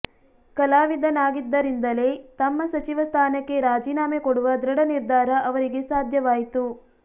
ಕಲಾವಿದನಾಗಿದ್ದರಿಂದಲೇ ತಮ್ಮ ಸಚಿವ ಸ್ಥಾನಕ್ಕೆ ರಾಜೀನಾಮೆ ಕೊಡುವ ದೃಢ ನಿರ್ಧಾರ ಅವರಿಗೆ ಸಾಧ್ಯವಾಯಿತು